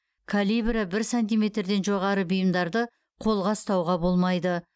калибрі бір сантиметрден жоғары бұйымдарды қолға ұстауға болмайды